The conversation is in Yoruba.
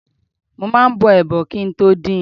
Mo máa ń bọ ẹdo kí i tó din.